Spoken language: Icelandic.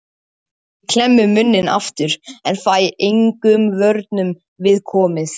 Ég klemmi munninn aftur en fæ engum vörnum við komið.